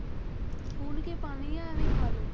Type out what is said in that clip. ਪੁਣ ਕੇ ਪਾਣੇ ਜਾਂ ਇਵੇਂ ਹੀ ਖਾ ਲਓ।